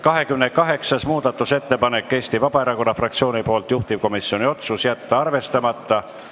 28. muudatusettepanek on Eesti Vabaerakonna fraktsioonilt, juhtivkomisjoni otsus: jätta arvestamata.